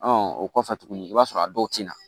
o kɔfɛ tuguni i b'a sɔrɔ a dɔw tina